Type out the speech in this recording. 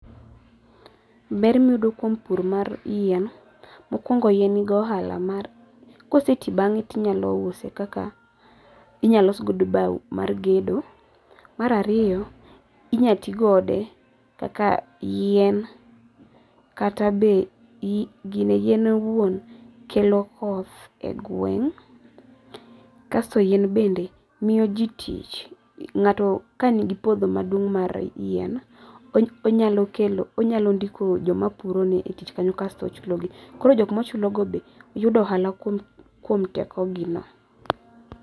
Ber miyudo kuom pur mar yien, mokuongo yien nigi ohala mar kose tii bang'e tinyalo use kaka inyal los godo bau mar gedo, mar ariyo, inyal tii kode kaka yien, kata be , yien owuon kelo koth e gweng', kasto yien bende miyo jii tich, ngato kanigi puodho maduong mar yien, onyalo kelo, onyalo ndiko joma puro ne e tich kanyo kasto ochulo gi, koro joma ochulo go be yudo ohala kuom teko gino